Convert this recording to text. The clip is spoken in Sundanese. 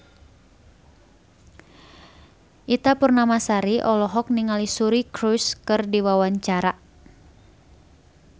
Ita Purnamasari olohok ningali Suri Cruise keur diwawancara